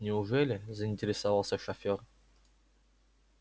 неужели заинтересовался шофер